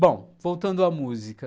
Bom, voltando à música.